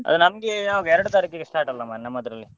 ಅಲ್ಲ ನಮ್ಗೆ ಯಾವಾಗ ಎರಡು ತಾರೀಖಿಗೆ start ಅಲ್ಲ ಮರ್ರೆ ನಮ್ಮದರಲ್ಲಿ.